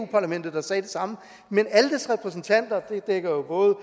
der sagde det samme men aldes repræsentanter der jo både